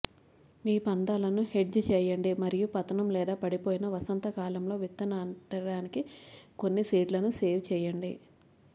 మీ పందాలను హెడ్జ్ చేయండి మరియు పతనం లేదా పడిపోయిన వసంతకాలంలో విత్తడానికి కొన్ని సీడ్లను సేవ్ చేయండి